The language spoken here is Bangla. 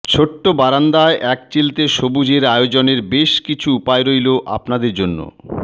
ছোট্ট বারান্দায় একচিলতে সবুজের আয়োজনের বেশ কিছু উপায় রইল আপনাদের জন্য